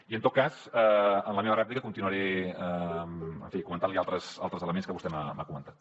i en tot cas en la meva rèplica continuaré comentant li altres elements que vostè m’ha comentat